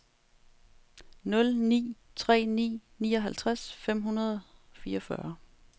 nul ni tre ni nioghalvtreds fem hundrede og fireogfyrre